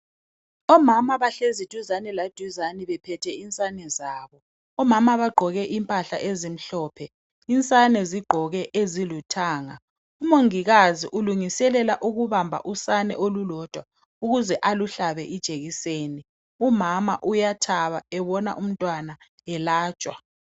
Omama bahlezi duzane laduzani bephethe insane zabo, omama bagqoke impahla ezimhlophe, insane zigqoke eziluthanga umongikazi ulungiselela ukubamba usane olulodwa ukuze aluhlabe ijekiseni umama uyathaba ebona umntwana elatshwa.